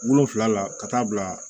Wolonfila la ka taa bila